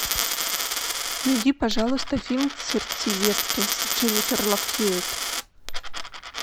найди пожалуйста фильм сердцеедки с дженнифер лав хьюитт